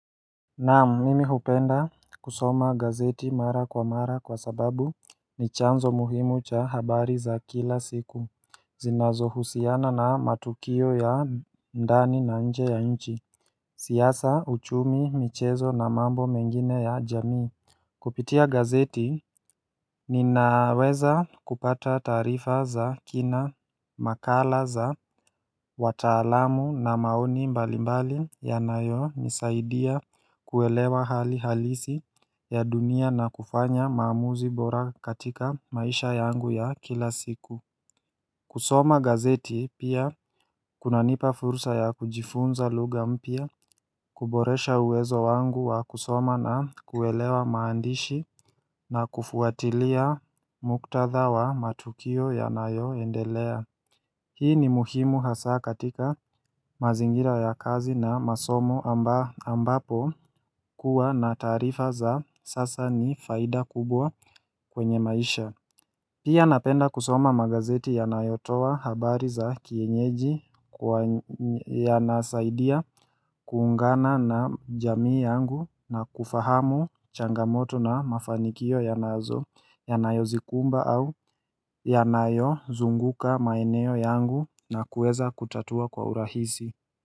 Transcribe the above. Nam mimi hupenda kusoma gazeti mara kwa mara kwa sababu ni chanzo muhimu cha habari za kila siku zinazo husiana na matukio ya ndani na nje ya nchi siyasa uchumi michezo na mambo mengine ya jamii Kupitia gazeti ninaweza kupata tarifa za kina makala za watalamu na maoni mbalimbali ya nayo nisaidia kuwelewa hali halisi ya dunia na kufanya maamuzi bora katika maisha yangu ya kila siku kusoma gazeti pia kunanipa fursa ya kujifunza luga mpia kuboresha uwezo wangu wa kusoma na kuwelewa maandishi na kufuatilia muktadha wa matukio ya nayo endelea Hii ni muhimu hasa katika mazingira ya kazi na masomo ambapo kuwa na tarifa za sasa ni faida kubwa kwenye maisha Pia napenda kusoma magazeti ya nayotowa habari za kienyeji yanasaidia kuungana na jamii yangu na kufahamu changamoto na mafanikio yanazo ya nayozikumba au ya nayo zunguka maeneo yangu na kueza kutatua kwa urahisi.